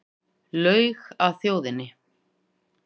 Laug að þjóðinni